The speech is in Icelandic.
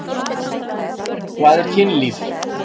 Hvað er kynlíf?